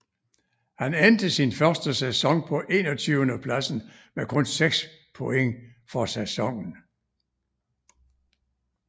Han endte sin første sæson på enogtyvendepladsen med kun 6 point for sæsonen